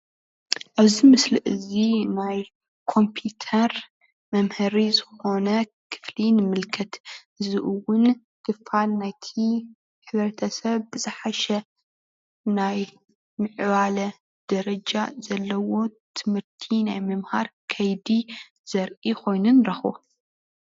ኣብዚ ምስሊ እዚ ናይ ኮምፒዩተር መምሀሪ ዝኾነ ክፍሊ ንምልከት፡፡ እዚ እውን ክፋል ናይቲ ሕብረተሰብ ብዝሓሸ ናይ ምዕባለ ደረጃ ዘለዎን ትምህርቲ ናይ ምምሃር ከይዲ ዘርኢ ኮይኑ ንረክቦ፡፡